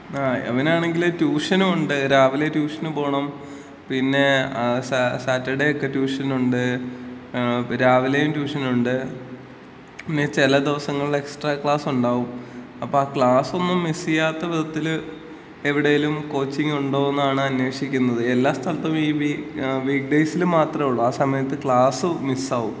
ങ്ങാ, അവനാണെങ്കില് ട്യൂഷനും ഉണ്ട്. രാവിലെ ട്യൂഷന് പോണം. പിന്നെ സാറ്റർഡേ ഒക്കെ ട്യൂഷൻ ഉണ്ട്. രാവിലെയും ട്യൂഷൻ ഉണ്ട്. പിന്നെ ചെല ദിവസങ്ങളില് എക്സ്ട്രാ ക്ലാസ്സ് ഉണ്ടാവും. അപ്പ ആ ക്ലാസ് ഒന്നും മിസ്സ് ചെയ്യാത്ത വിധത്തില് എവിടെയെങ്കിലും കോച്ചിങ് ഉണ്ടോ എന്നാണ് അന്വേഷിക്കുന്നത്. എല്ലാ സ്ഥലത്തും ഈ വീക്ക് ഡേയ്സിൽ മാത്രമുള്ളൂ. ആ സമയത്ത് ക്ലാസും മിസ്സ് ആകും.